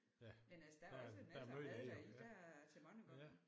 Ja der er der meget af det jo ja ja